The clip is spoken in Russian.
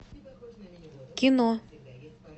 кино